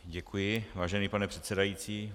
Děkuji, vážený pane předsedající.